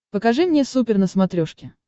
покажи мне супер на смотрешке